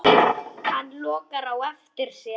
Hann lokar á eftir sér.